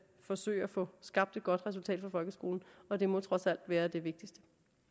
forsøge at få skabt et godt resultat for folkeskolen og det må trods alt være det vigtigste